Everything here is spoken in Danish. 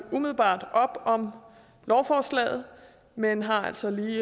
umiddelbart op om lovforslaget men har altså lige